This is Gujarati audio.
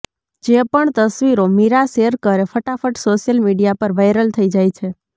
જે પણ તસવીરો મીરા શેર કરે ફટાફટ સોશિયલ મીડિયા પર વાયરલ થઇ જાય છે